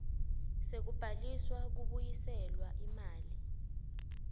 sekubhalisa kubuyiselwa imali